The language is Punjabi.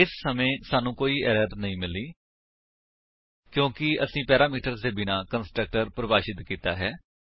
ਇਸ ਸਮੇਂ ਸਾਨੂੰ ਕੋਈ ਐਰਰ ਨਹੀਂ ਮਿਲੀ ਕਿਉਂਕਿ ਅਸੀਂ ਪੈਰਾਮੀਟਰ ਦੇ ਬਿਨਾਂ ਕੰਸਟਰਕਟਰ ਪਰਿਭਾਸ਼ਿਤ ਕੀਤਾ ਹੈ